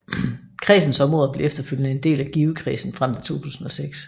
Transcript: Kredsens områder blev efterfølgende en del af Givekredsen frem til 2006